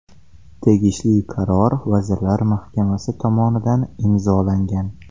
Tegishli qaror Vazirlar Mahkamasi tomonidan imzolangan.